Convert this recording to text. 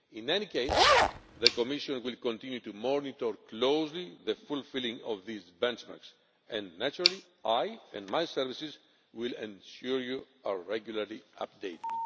In any case, the Commission will continue to monitor closely the fulfilling of these benchmarks, and naturally I and my services will ensure that you are regularly updated.